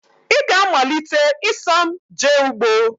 Ị ga-amalite ịsọ m jee ugbo!